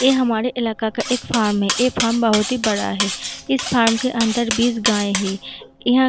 ये हमारे इलाका का एक फार्म है | ये फार्म बहुत ही बड़ा है | इस फार्म के अंदर बिस गाय है | यहाँ --